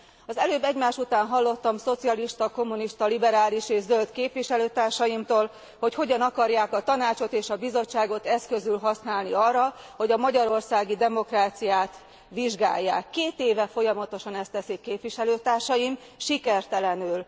Az előbb egymás után hallottam szocialista, kommunista, liberális és zöld képviselőtársaimtól, hogy hogyan akarják a Tanácsot és a Bizottságot eszközül használni arra, hogy a magyarországi demokráciát vizsgálják. Két éve folyamatosan ezt teszik képviselőtársaim, sikertelenül!